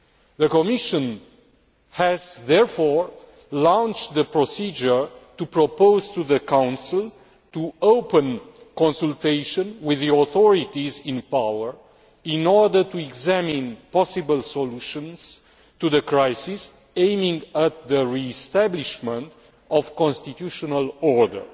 The Commission has therefore launched the procedure to propose to the Council to open consultation with the authorities in power in order to examine possible solutions to the crisis, aimed at the re establishment of constitutional order.